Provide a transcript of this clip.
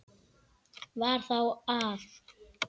Var þar á að